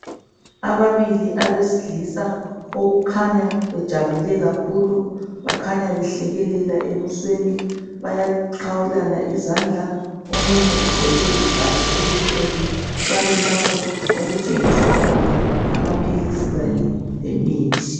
Ababili abesilisa okukhanya bejabule kakhulu. Bakhanya behlekelela ebusweni. Bayaqhawulana izandla. Omunye ugqoke ibhatshi elimhlophe . Bami lapho okuthengiswa khona amaphilisi le mithi.